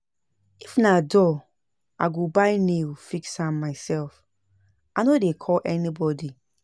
If na door, I go buy nail fix am mysef, I no dey call anybodi.